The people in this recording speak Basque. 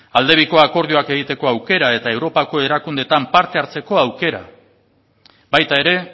alde biko akordioak egiteko aukera eta europako erakundeetan parte hartzeko aukera baita ere